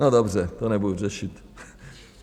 No dobře, to nebudu řešit.